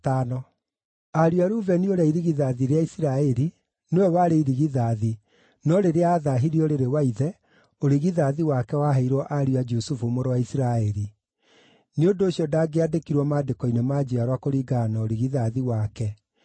Ariũ a Rubeni ũrĩa irigithathi rĩa Isiraeli (nĩwe warĩ irigithathi, no rĩrĩa aathaahirie ũrĩrĩ wa ithe, ũrigithathi wake waheirwo ariũ a Jusufu mũrũ wa Isiraeli; nĩ ũndũ ũcio, ndangĩandĩkirwo maandĩko-inĩ ma njiarwa kũringana na ũrigithathi wake,